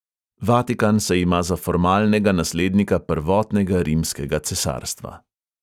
Vatikan se ima za formalnega naslednika prvotnega rimskega cesarstva.